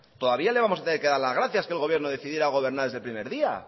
todavía le vamos a tener que dar las gracias que el gobierno decidiera gobernar desde el primer día